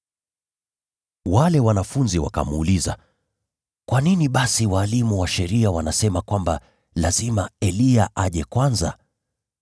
Wale wanafunzi wakamuuliza, “Kwa nini basi walimu wa sheria husema kwamba ni lazima Eliya aje kwanza?”